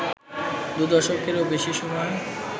দু দশকেরও বেশি সময়